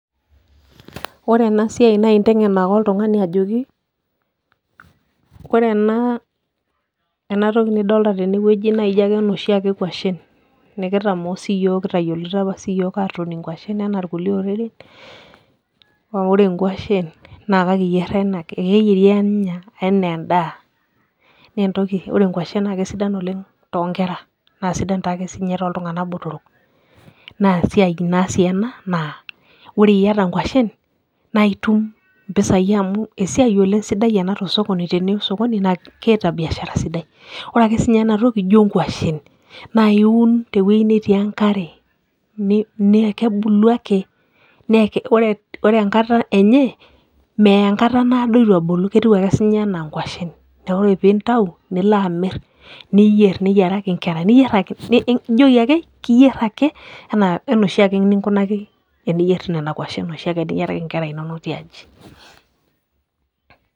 ore ena siia naa intengen ake oltungani ajoki, ore ena toki nidolita tene wueji. naa ijo ake inoshi ake kwashen, nikitamoo sii yiook kitayioloito apa sii yiook atuun nkwashen anaa kulie oreren, naa ore nkwashen ekeyieri anaa edaa. ore entoki, enkwashe naa kesidan oleng to nkera. naa sidan taake sii ninye tooltunganak botorok. naa esiia sii ena naa ore iyata nkwashen naa itum impisai amu esiai sidai ena tosokoni, amu teniya osokoni naa keeta biashara sidai. ore ake sii ninye ana toki naa ijo nkwashen naa keun, tewuei netii enkare. naa kebulu ake. ore enkata enye, meya enkata naado eitu ebulu ketiu ake sii ninye anaa nkwashen. neeku oe pee intau nilo amir, niyieraki nkera. niyier ake. ijoki ake, iyier ake anaa oshiake eninko teniyier nkwashen oshiake niyiaraki nkera inonok tiaji.